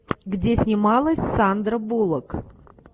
где снималась сандра буллок